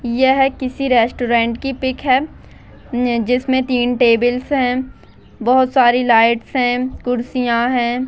यह किसी रेस्टोरेंट की पिक है न-जिसमें तीन टेबल्स हैं बहोत सारी लाइट्स हैं कुर्सियां हैं।